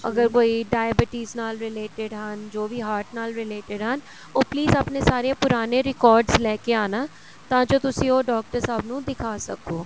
ਅਗਰ ਕੋਈ diabetes ਨਾਲ related ਹਨ ਜੋ ਵੀ heart ਨਾਲ related ਹਨ ਉਹ please ਆਪਣੇ ਸਾਰੇ ਪੁਰਾਣੇ records ਲੈ ਕੇ ਆਣਾ ਤਾਂ ਜੋ ਤੁਸੀਂ ਉਹ ਡਾਕਟਰ ਸਾਹਿਬ ਨੂੰ ਦਿਖਾ ਸਕੋ